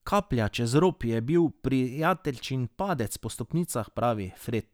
Kaplja čez rob je bil prijateljičin padec po stopnicah, pravi Fred.